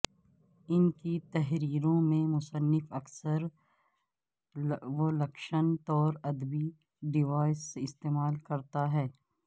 ان کی تحریروں میں مصنف اکثر ولکشن طور ادبی ڈیوائس استعمال کرتا ہے